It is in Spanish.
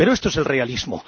Pero esto es el realismo.